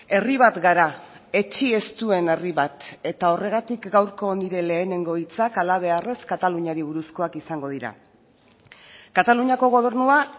herri bat gara etsi ez duen herri bat eta horregatik gaurko nire lehenengo hitzak halabeharrez kataluniari buruzkoak izango dira kataluniako gobernua